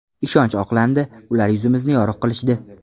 Ishonch oqlandi, ular yuzimizni yorug‘ qilishdi.